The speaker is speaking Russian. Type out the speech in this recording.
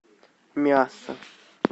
миасса